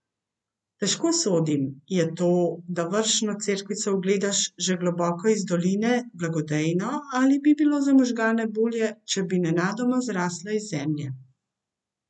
Težko sodim, je to, da vršno cerkvico ugledaš že globoko iz doline, blagodejno ali bi bilo za možgane bolje, če bi nenadoma zrasla iz zemlje?